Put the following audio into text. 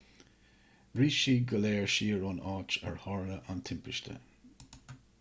rith siad go léir siar ón áit ar tharla an timpiste